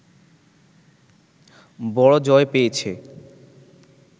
বড় জয় পেয়েছে